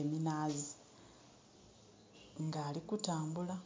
eminaazi, nga ali kutambula.